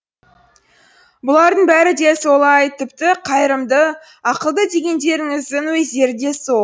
бұлардың бәрі де солай тіпті қайырымды ақылды дегендеріңіздің өздері де сол